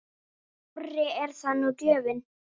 Skárri er það nú gjöfin!